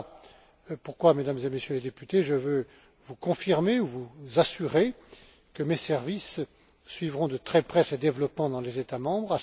Voilà pourquoi, Mesdames et Messieurs les députés, je veux vous confirmer, ou vous assurer, que mes services suivront de très près ces développements dans les États membres.